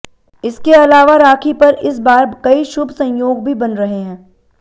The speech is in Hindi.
इसके आलावा राखी पर इस बार कई शुभ संयोग भी बन रहे हैं